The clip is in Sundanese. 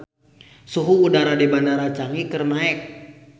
Suhu udara di Bandara Changi keur naek